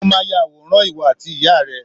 mo ma yàwòrán owó ati ìyá rẹ